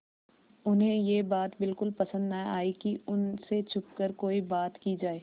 उन्हें यह बात बिल्कुल पसन्द न आई कि उन से छुपकर कोई बात की जाए